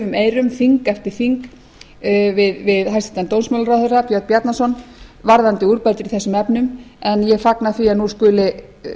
daufum eyrum þing eftir þing við hæstvirtan dómsmálaráðherra björn bjarnason varðandi úrbætur í þessum efnum en ég fagna því að nú skuli